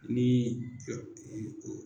Ni